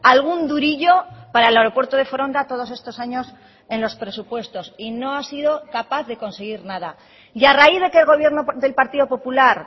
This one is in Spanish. algún durillo para el aeropuerto de foronda todos estos años en los presupuestos y no ha sido capaz de conseguir nada y a raíz de que el gobierno del partido popular